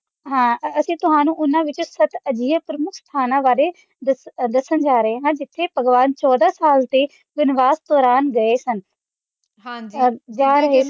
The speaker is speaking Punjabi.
ਹਾਂ ਅਤੇ ਤੁਹਾਨੂੰ ਉਹਨਾ ਵਿੱਚੋਂ ਸੱਤ ਅਜਿਹੇ ਬਾਰੇ ਦੱਸਣ ਜਾ ਰਹੇ ਹਾਂ ਜਿਥੇ ਭਗਵਾਨ ਚੋਦਾਂ ਸਾਲ ਦੇ ਵਨਵਾਸ ਦੌਰਾਨ ਗਏ ਸਨ